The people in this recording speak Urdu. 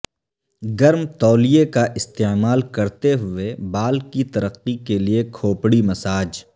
گرم تولیہ کا استعمال کرتے ہوئے بال کی ترقی کے لئے کھوپڑی مساج